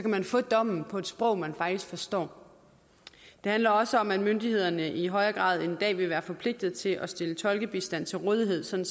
man få dommen på et sprog man faktisk forstår det handler også om at myndighederne i højere grad end i dag vil være forpligtet til at stille tolkebistand til rådighed sådan